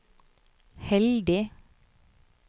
heldig